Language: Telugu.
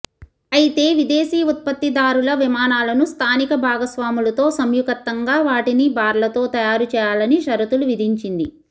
అయితే విదేశీ ఉత్పత్తిదారుల విమానాలను స్థానిక భాగస్వాములతో సంయుకత్తంగా వాటిని భారత్లో తయారు చేయాలనిషరతులు విధించింది